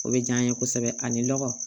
O bɛ diya n ye kosɛbɛ ani lɔgɔ